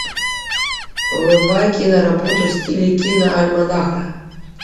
врубай киноработу в стиле киноальманаха